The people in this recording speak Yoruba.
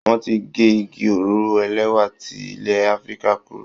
Wọ́n ti gé igi òróró ẹlẹ́wà ti ilẹ̀ Afrika kúrò.